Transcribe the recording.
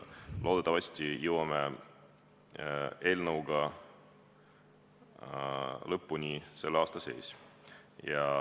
Loodetavasti jõuame eelnõuga lõpule selle aasta sees.